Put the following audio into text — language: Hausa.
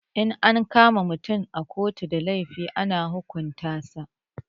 In an kama mutum da laifi a ƙotu ana hukunta sa